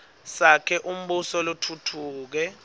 sakhe umbuso lotfutfuke